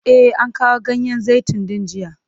E, an kawo ganyen zaitun din jiya.